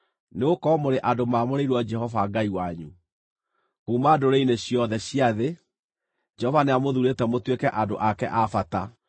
nĩgũkorwo mũrĩ andũ mamũrĩirwo Jehova Ngai wanyu. Kuuma ndũrĩrĩ-inĩ ciothe cia thĩ, Jehova nĩamũthuurĩte mũtuĩke andũ ake a bata.